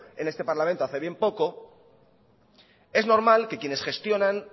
en este parlamento hace bien poco es normal que quienes gestionan